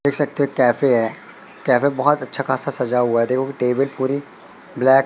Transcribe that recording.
देख सकते हैं कैफे है कैफे बहोत अच्छा खासा सजा हुआ है देखो टेबल पूरी ब्लैक --